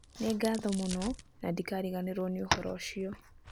Nĩ ngatho mũno, na ndikariganĩrũo nĩ ũhoro ũcio".